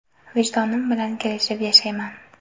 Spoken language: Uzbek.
Vijdonim bilan kelishib yashayman.